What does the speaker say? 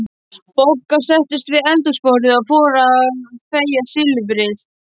Bogga settust við eldhúsborðið og fóru að fægja silfrið.